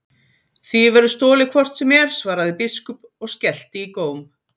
Því verður stolið hvort sem er, svaraði biskup og skellti í góm.